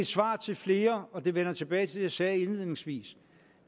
svar til flere og det vender tilbage til det jeg sagde indledningsvis